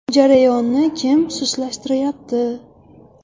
Jarayonni kim sustlashtirayapti?